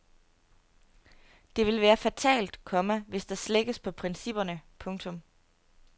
Det vil være fatalt, komma hvis der slækkes på principperne. punktum